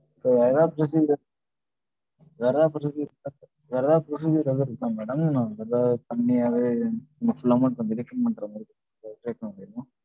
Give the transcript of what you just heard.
so வேற எதாவது procedure. வேற எதாவது procedure எதும் இருக்கா madam, நான் எதா பண்ணியாவது full amount கொஞ்சம் deduction பண்ற மாதிரி எதாவது try பண்ண முடியுமா